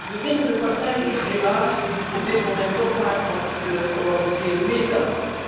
De winnende partij is helaas op dit moment toch vaak nog de georganiseerde misdaad.